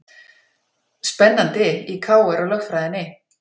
Spennandi í KR og lögfræðinni